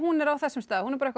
er á þessum stað